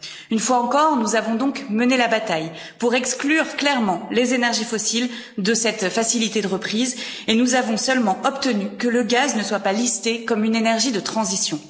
Une fois encore, nous avons donc mené la bataille pour exclure clairement les énergies fossiles de cette facilité de reprise et nous avons seulement obtenu que le gaz ne soit pas listé comme une énergie de transition.